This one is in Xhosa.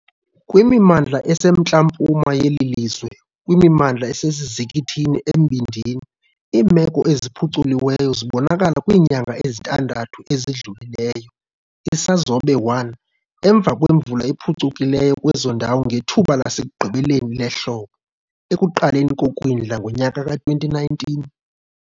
Kwimimandla esemntla-mpuma yeli lizwe nakwimimandla esesizikithini embindini, iimeko eziphuculiweyo zibonakala kwiinyanga ezintandathu ezidlulileyo, Isazobe 1, emva kwemvula ephucukileyo kwezo ndawo ngethuba lasekugqibeleni lehlobo - ekuqaleni kokwindla ngonyaka ka-2019.